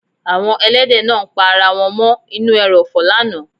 Àwọn èlẹ́dẹ̀ náà ń pa ara wọn mọ́ ínú èròfò lánàá.